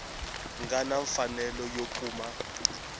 nga na mfanelo yo kuma